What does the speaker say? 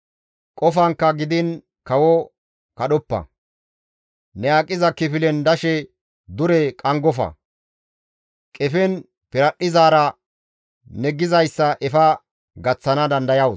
Qofankka gidiin kawo kadhoppa; ne aqiza kifilen dashe dure qanggofa; qefen piradhdhizaara ne gizayssa efa gaththana dandayawus.